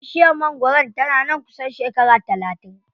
Bishiyar mangwaron tana nan kusan shekara talatin.